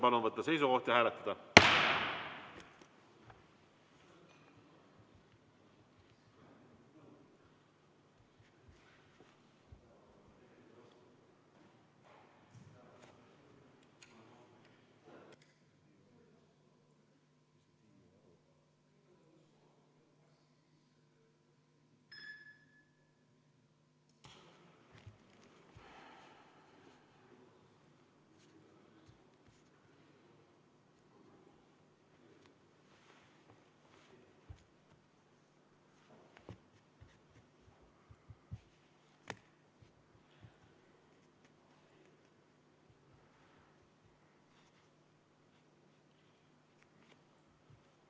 Palun võtta seisukoht ja hääletada!